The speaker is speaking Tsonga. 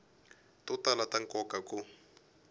to tala ta nkoka ku